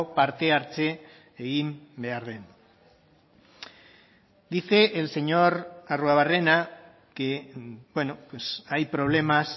parte hartze egin behar den dice el señor arruabarrena que hay problemas